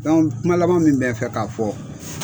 Dɔnku kuma laban min bɛ n fɛ k'a fɔ